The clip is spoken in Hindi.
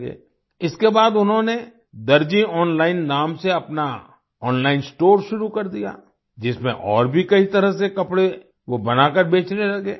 इसके बाद उन्होंने दर्जी ऑनलाइन नाम से अपना ओनलाइन स्टोर शुरू कर दिया जिसमें और भी कई तरह से कपड़े वो बनाकर बेचने लगे